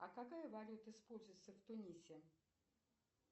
а какая валюта используется в тунисе